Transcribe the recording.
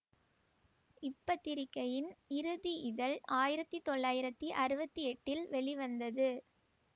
இப்பத்திரிகையின் இறுதி இதழ் ஆயிரத்தி தொள்ளாயிரத்தி அறுபத்தி எட்டில் வெளிவந்தது